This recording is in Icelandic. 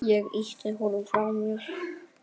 Ég ýtti honum frá mér.